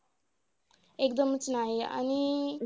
एकदमचं नाही आणि